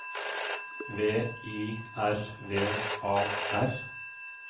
V I R V A R